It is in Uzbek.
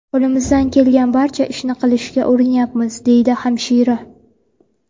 Qo‘limizdan kelgan barcha ishni qilishga urinyapmiz”, deydi hamshira.